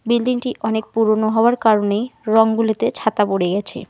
বিল্ডিংটি অনেক পুরনো হওয়ার কারণেই রঙগুলিতে ছাতা পড়ে গেছে।